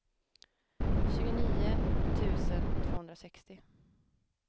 tjugonio tusen tvåhundrasextio